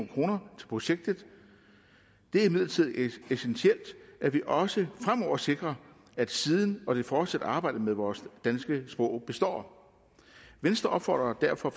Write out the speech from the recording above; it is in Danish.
kroner til projektet det er imidlertid essentielt at vi også fremover sikrer at siden og det fortsatte arbejde med vores danske sprog består venstre opfordrer derfor